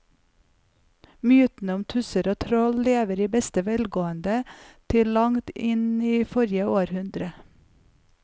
Mytene om tusser og troll levde i beste velgående til langt inn i forrige århundre.